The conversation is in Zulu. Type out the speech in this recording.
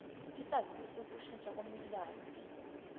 isaziso sokushintsha komnikazi